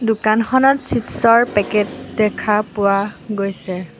দোকানখনত চিপচ ৰ পেকেট দেখা পোৱা গৈছে।